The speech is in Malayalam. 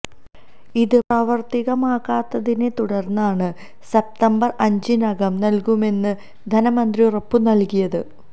ഇത് പ്രാവര്ത്തികമാകാത്തിനെ തുടര്ന്നാണ് സപ്തംബര് അഞ്ചിനകം നല്കുമെന്ന് ധനമന്ത്രി ഉറപ്പു നല്കിയത്